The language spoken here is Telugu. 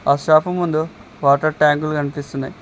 ఆ షాపు ముందు వాటర్ ట్యాంకులు కనిపిస్తున్నాయ్.